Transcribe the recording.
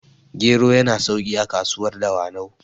gero yana sauki a kasuwar dawanau